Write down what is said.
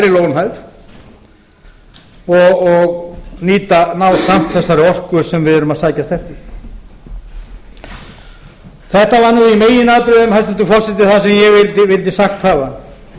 lægri lónhæð og ná samt þessari orku sem við erum að sækjast eftir þetta var nú í meginatriðum hæstvirtur forseti það sem ég vildi sagt hafa